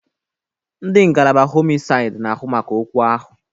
Ndị ngalaba homisaid n'ahụ maka okwu ahu